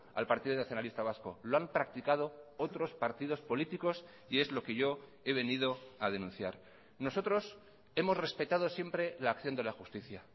al partido nacionalista vasco lo han practicado otros partidos políticos y es lo que yo he venido a denunciar nosotros hemos respetado siempre la acción de la justicia